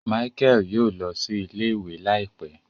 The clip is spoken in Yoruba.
Michael yóò lọ sí ilé-ìwé láìpé